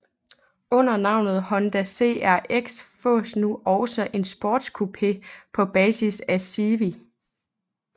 Under navnet Honda CRX fås nu også en sportscoupé på basis af Civic